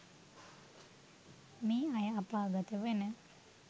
මේ අය අපාගත වන